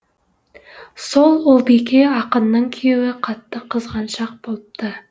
сол ұлбике ақынның күйеуі қатты қызғаншақ болыпты